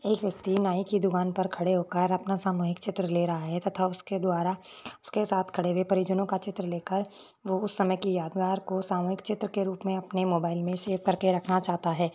एक व्याक्ति नाई की दुकान पर खड़े होकर अपना सामूहिक चित्र ले रहा है तथा उसके द्वारा उसके साथ खड़े हुए प्रिजनो का चित्र ले कर है वो उस समय की यादें सामूहिक चित्र अपने मोबाइल में सेव करके रखना चाहता है।